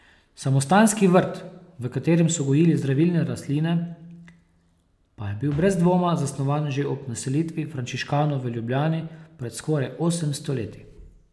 Samostanski vrt, v katerem so gojili zdravilne rastline, pa je bil brez dvoma zasnovan že ob naselitvi frančiškanov v Ljubljani pred skoraj osemsto leti.